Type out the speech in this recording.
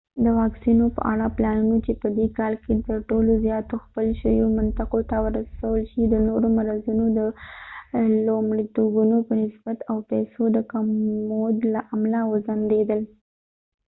د واکسینو په اړه پلانونه چې په دې کال کې تر ټولو زیاتو ځپل شویو منطقو ته ورسول شي د نورو مرضوونو د لومړیتوبونو په نسبت او د پیسو د کمبود له امله وځنډیدل